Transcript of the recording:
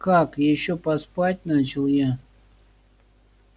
как ещё поспать начал я